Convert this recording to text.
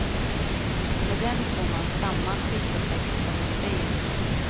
Med dem får man samma skyddseffekt som i en bil.